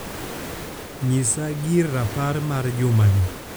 nyisa gir rapar mar jumani